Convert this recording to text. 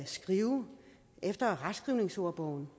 skrive efter retskrivningsordbogen